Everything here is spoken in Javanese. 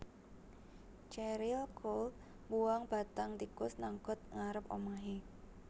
Cheryl Cole mbuwang bathang tikus nang got ngarep omahe